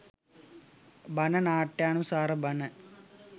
බණ නාට්‍යානුසාර බණ